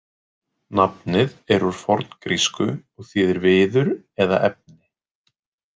Nafnið er úr forngrísku og þýðir „viður“ eða „efni“.